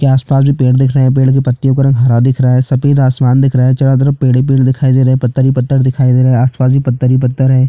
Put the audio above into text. के आसपास जो पेड़ दिख रहा है पेड़ के पत्तियों का रंग हरा दिख रहा है सफ़ेद आसमान दिख रहा है चारों तरफ पेड़ ही पेड़ दिखाई दे रहे है पत्थर ही पत्थर दिखाई दे रहा है आसपास भी पत्थर ही पत्थर हैं।